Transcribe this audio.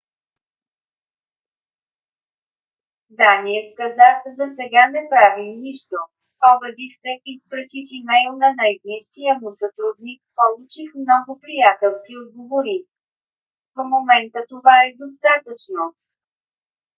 даниъс каза: засега не правим нищо. обадих се изпратих имейл на най - близкия му сътрудник получих много приятелски отговори. в момента това е достатъчно.